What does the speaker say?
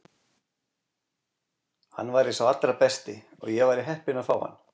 Hann væri sá allra besti og ég væri heppin að fá hann.